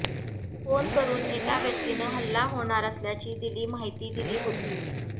phone करुन एका व्यक्तीनं हल्ला होणार असल्याची दिली माहिती दिली होती